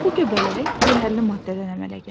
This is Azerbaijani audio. Bu göbələk zəhərli maddədən əmələ gəlir.